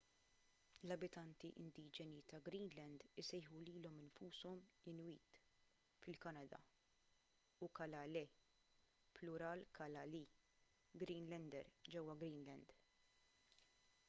l-abitanti indiġeni ta’ greenland isejħu lilhom infushom inuit fil-kanada u kalaalleq plural kalaallit greenlander ġewwa greenland